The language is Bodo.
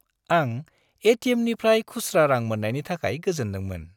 आं ए.टि.एम.निफ्राय खुस्रा रां मोन्नायनि थाखाय गोजोन्दोंमोन।